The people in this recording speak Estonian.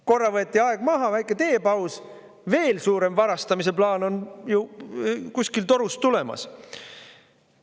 Korra võeti aeg maha, väike teepaus, aga veel suurem varastamise plaan on kuskil torust tulemas.